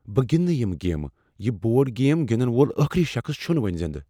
بہٕ گِندٕ نہٕ یِہ گیم۔ یہ بورڈ گیم گنٛدن وول آخری شخص چھ نہٕ وۄنۍ زندٕ۔